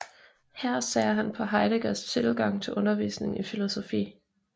Her ser han på Heideggers tilgang til undervisning i filosofi